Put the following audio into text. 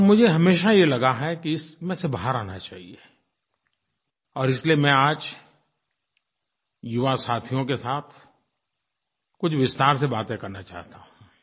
और मुझे हमेशा ये लगा है कि इसमें से बाहर आना चाहिये और इसलिये मैं आज युवा साथियों के साथ कुछ विस्तार से बातें करना चाहता हूँ